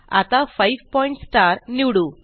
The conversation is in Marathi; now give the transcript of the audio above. आता 5 पॉइंट स्टार निवडू